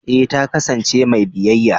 eh ta kasance mai biyayya.